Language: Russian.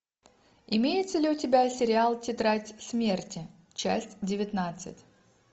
имеется ли у тебя сериал тетрадь смерти часть девятнадцать